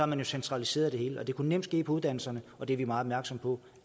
man jo centraliseret det hele det kunne nemt ske for uddannelserne og det er vi meget opmærksomme på